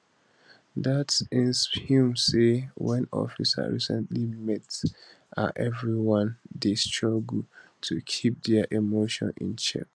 det insp humm say wen officers recently meet her everyone dey struggle to keep dia emotions in check